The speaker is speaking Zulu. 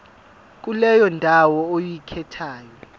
kuleyo ndawo oyikhethayo